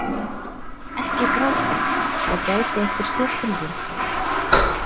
Ekki gráta, það gæti einhver séð til þín.